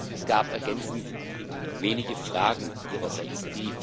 Es gab ergänzend wenige Fragen Ihrerseits.